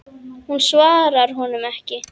Hún svarar honum ekki.